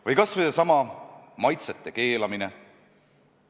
Või kas või seesama maitseainete keelamine.